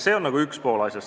See on asja üks pool.